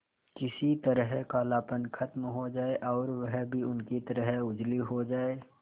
किसी तरह कालापन खत्म हो जाए और वह भी उनकी तरह उजली हो जाय